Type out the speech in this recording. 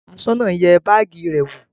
Aṣọ́nà náà yẹ báágì rẹ wò?